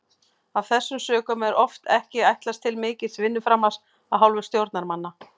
Af þessum sökum er oft ekki ætlast til mikils vinnuframlags af hálfu stjórnarmanna.